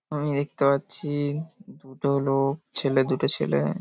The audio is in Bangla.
আমি দেখতে পাচ্ছি দুটো লোক ছেলে দুটো ছেলে |